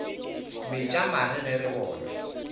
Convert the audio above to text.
metša mare ge re bona